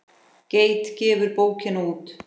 Geit gefur bókina út.